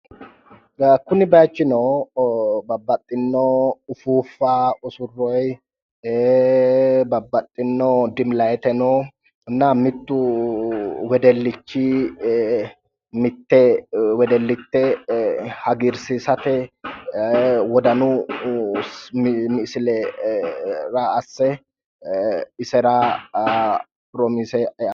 Kuni bayichino babbaxxino ufuuffa usurroyi babbaxxino dimi layiteno mittu wedellichi mitte wedellite hagiirsiisate wodanu sile raa asse isera piromiise..